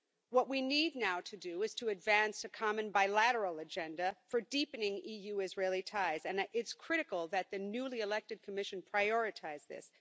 What we need to do now is to advance a common bilateral agenda for deepening EU Israeli ties, and it is critical that the newly elected Commission prioritise this.